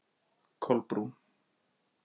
Kolbrún